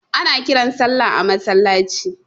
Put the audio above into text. Ana kiran sallah a masallaci.